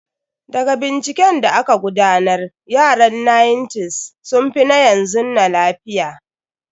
Daga binciken da aka gudanar, yaran 1900s sun fi na yanzu na lafiya.